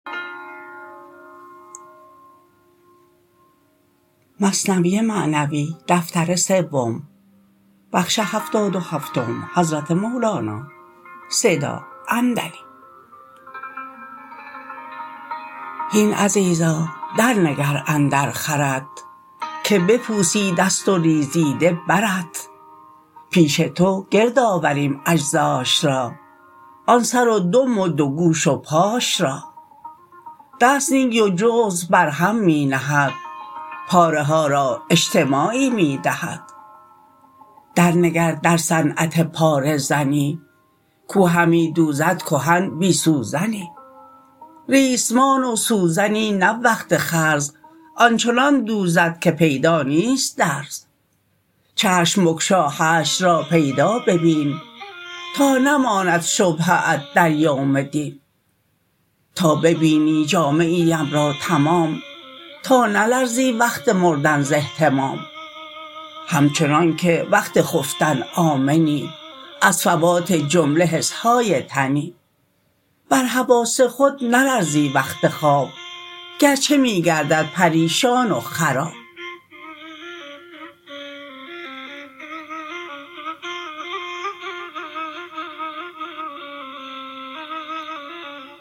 هین عزیرا در نگر اندر خرت که بپوسیدست و ریزیده برت پیش تو گرد آوریم اجزاش را آن سر و دم و دو گوش و پاش را دست نه و جزو برهم می نهد پاره ها را اجتماعی می دهد در نگر در صنعت پاره زنی کو همی دوزد کهن بی سوزنی ریسمان و سوزنی نه وقت خرز آنچنان دوزد که پیدا نیست درز چشم بگشا حشر را پیدا ببین تا نماند شبهه ات در یوم دین تا ببینی جامعی ام را تمام تا نلرزی وقت مردن ز اهتمام همچنانک وقت خفتن آمنی از فوات جمله حسهای تنی بر حواس خود نلرزی وقت خواب گرچه می گردد پریشان و خراب